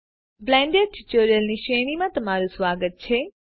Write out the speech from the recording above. Blender tutorials ની શ્રેણીમાં તમારું સ્વાગત છે